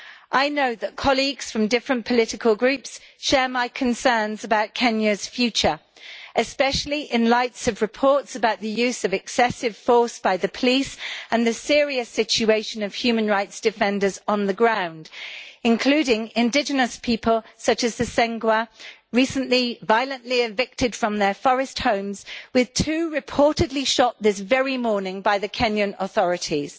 I know that colleagues from different political groups share my concerns about Kenya's future, especially in light of reports about the use of excessive force by the police and the serious situation of human rights defenders on the ground, including indigenous people such as the Sengwer recently violently evicted from their forest homes, with two reportedly shot this very morning by the Kenyan authorities.